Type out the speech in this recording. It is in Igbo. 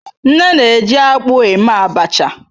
Nne na-eji akpu eme abacha.